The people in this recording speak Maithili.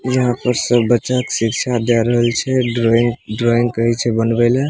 यहाँ पर सब बच्चा के शिक्षा दे रहल छै ड्रॉइंग ड्रॉइंग कहे छै बनवे लेए।